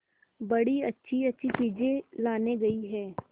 बड़ी अच्छीअच्छी चीजें लाने गई है